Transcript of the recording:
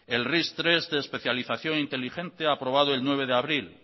el ris tres de especialización inteligente aprobado el nueve de abril